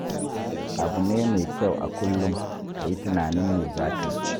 Abu ne mai kyau a kullum ka yi tunanin me za ka yi.